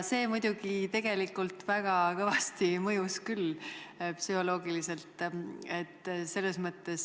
See muidugi väga kõvasti psühholoogiliselt mõjus küll.